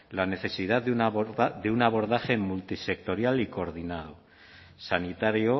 la necesidad de un abordaje multisectorial y coordinado sanitario